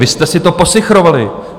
Vy jste si to posichrovali.